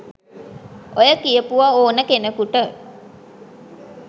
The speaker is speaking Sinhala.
ඔය කියපුව ඕන කෙනෙකුට